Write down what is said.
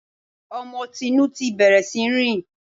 Ọmọ Tinú ti bẹ̀rẹ̀ sí í rìn